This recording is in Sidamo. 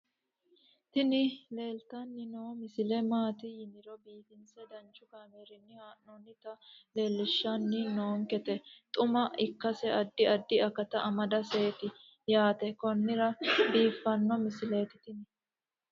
tini leeltanni noo misile maaati yiniro biifinse danchu kaamerinni haa'noonnita leellishshanni nonketi xuma ikkase addi addi akata amadaseeti yaate konnira biiffanno misileeti tini